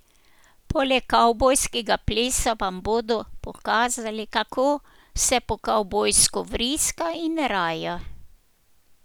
Poleg kavbojskega plesa vam bodo pokazali, kako se po kavbojsko vriska in raja.